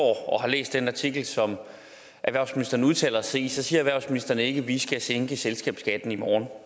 og har læst den artikel som erhvervsministeren udtaler sig i siger erhvervsministeren ikke at vi skal sænke selskabsskatten i morgen